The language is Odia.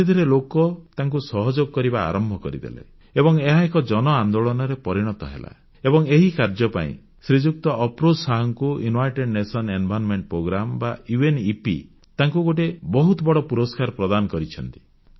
ଧୀରେ ଧୀରେ ଲୋକେ ତାଙ୍କୁ ସହଯୋଗ କରିବା ଆରମ୍ଭ କରିଦେଲେ ଏବଂ ଏହା ଏକ ଜନଆନ୍ଦୋଳନରେ ପରିଣତ ହେଲା ଏବଂ ଏହି କାର୍ଯ୍ୟ ପାଇଁ ଶ୍ରୀଯୁକ୍ତ ଅଫରୋଜ ଶାହଙ୍କୁ United Nations Environment Programme UNEP ତାଙ୍କୁ ଗୋଟିଏ ବହୁତ ବଡ଼ ପୁରସ୍କାର ପ୍ରଦାନ କରିଛନ୍ତି